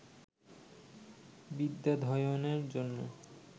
বিদ্যাধ্যয়নের জন্য